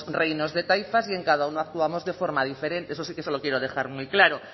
reinos de taifas y en cada uno actuamos de forma diferente eso sí que se lo quiero dejar muy claro